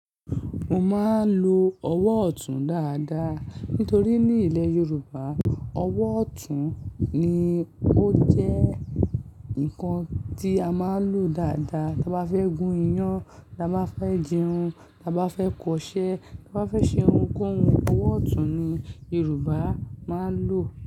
Mo máa ń lo ọwọ́ ọ̀tún dáadáa nítorí ní ilẹ̀ Yorùbá, ọwọ́ ọ̀tún ni ó jẹ́ nǹkan tí a máa ń lò dáadáa tí a bá fẹ́ gun iyán, tí a bá fẹ́ dírun, tí a bá fẹ́ kọ iṣẹ́, tí a bá fẹ́ ṣe ohunkóhun, ọwọ́ ọ̀tún ni Yorùbá máa ń lò.